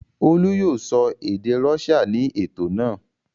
Olú yóò sọ èdè Russia ní ètò náà.